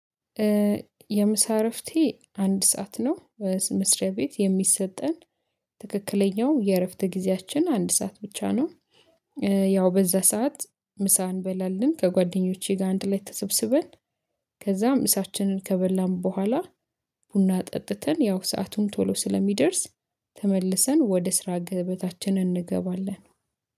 የምሳ እረፍቴ አንድ ሰዓት ነው መስሪያ ቤት የሚሰጠን ትክክለኛው የእረፍት ጊዜያችን አንድ ሰዓት ብቻ ነው። ያው በዛ ሰዓት ምሳ እንበላለን ከጓደኞቼ ጋር አንድ ላይ ተሰብስበን ከዛም ምሳችንን ከበላን በኋላ ቡና ጠጥተን ያው ሰአቱም ቶሎ ስለሚደርስ ተመልሰን ወደ ስራ ገበታችን እንገባለን